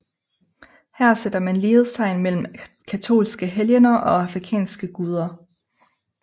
Her sætter man lighedstegn mellem katolske helgener og afrikanske guder